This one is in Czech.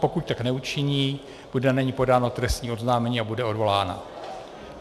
Pokud tak neučiní, bude na ni podáno trestní oznámení a bude odvolána.